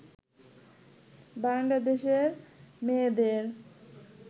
বাংলাদেশের মেয়েদের